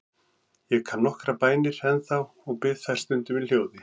Ég kann nokkrar bænir ennþá og bið þær stundum í hljóði.